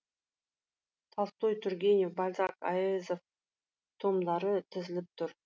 толстой тургенев бальзак әуезов томдары тізіліп тұр